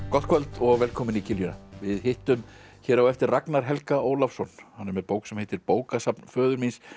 gott kvöld og velkomin í kiljuna við hittum hér á eftir Ragnar Helga Ólafsson hann er með bók sem heitir bókasafn föður míns